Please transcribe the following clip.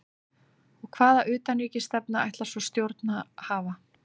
Og hvaða utanríkisstefnu ætlar svona stjórn að hafa?